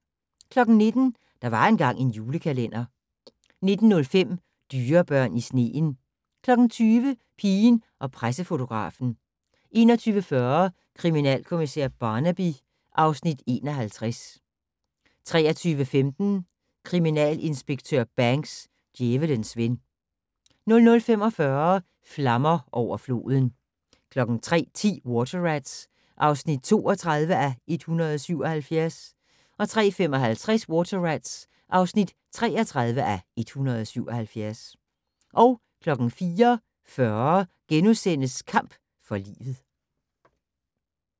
19:00: Der var engang en julekalender 19:05: Dyrebørn i sneen 20:00: Pigen og pressefotografen 21:40: Kriminalkommissær Barnaby (Afs. 51) 23:15: Kriminalinspektør Banks: Djævelens ven 00:45: Flammer over floden 03:10: Water Rats (32:177) 03:55: Water Rats (33:177) 04:40: Kamp for livet *